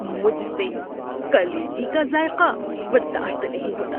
مجھ سے کلیجی کا ذائقہ برداشت نہیں ہوتا۔